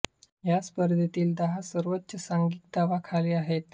या स्पर्धेतील दहा सर्वोच्च सांघिक धावा खाली आहेत